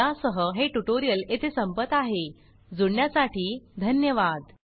या सह हे ट्यूटोरियल येथे संपत आहे जुडण्यासाठी धन्यवाद